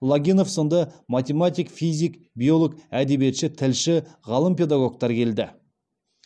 логинов сынды математик физик биолог әдебиетші тілші ғалым педагогтар келді